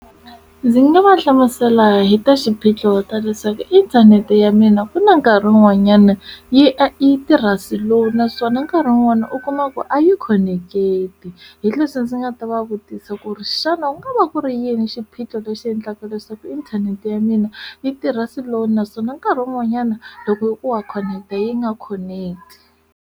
Ndzi nga va hlamusela hi ta xiphiqo ta leswaku inthanete ya mina ku na nkarhi wun'wanyana yi e tirha slow naswona nkarhi un'wana u kuma ku a yi khoneketi hi leswi ndzi nga ta va vutisa ku ri xana u nga va ku ri yini xiphiqo lexi endlaka leswaku inthanete ya mina yi tirha slow naswona nkarhi wun'wanyana loko hikuva khoneketa yi nga khoneketi.